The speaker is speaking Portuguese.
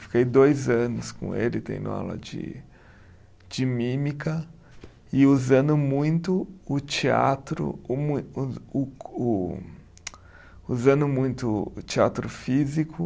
Fiquei dois anos com ele, tendo aula de de mímica e usando muito o teatro o mui, o o co, usando muito o teatro físico